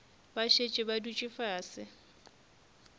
ba šetše ba dutše fase